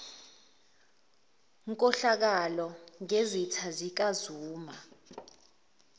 nkohlakalo ngezitha zikazuma